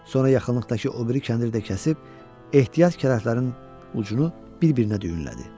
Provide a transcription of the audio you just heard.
Sonra yaxınlıqdakı o biri kəndiri də kəsib ehtiyat kələflərin ucunu bir-birinə düyünlədi.